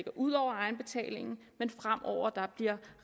ud over egenbetalingen men fremover bliver